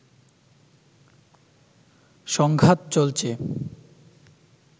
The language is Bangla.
সংঘাত চলছে